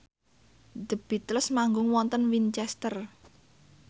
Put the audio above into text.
The Beatles manggung wonten Winchester